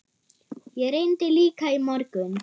Ég reyndi líka í morgun.